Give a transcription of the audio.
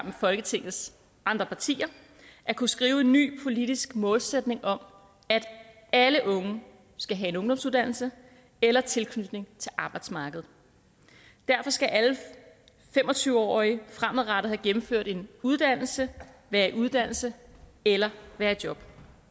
med folketingets andre partier at kunne skrive en ny politisk målsætning om at alle unge skal have en ungdomsuddannelse eller tilknytning til arbejdsmarkedet derfor skal alle fem og tyve årige fremadrettet have gennemført en uddannelse være i uddannelse eller være i job